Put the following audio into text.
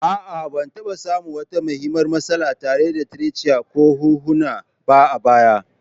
A'a, Ban taɓa samun wata muhimmiyar matsala tare da trachea ko hunhuna ba a baya.